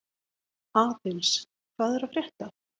Aðils, hvað er að frétta?